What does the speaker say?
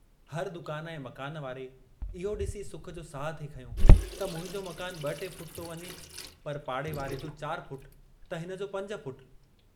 हर दुकान ऐं मकान वारे इहो डिसी सुख जो साहु थे खंयो त मुंहिंजो मकान ब टे फुट थो वञे, पर पाड़ेवारे जो चार फुट त हिनजो पंज फुट।